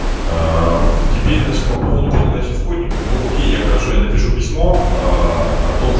правда теперь по поводу передачи исходников науке я хорошо я напишу письмо от ооо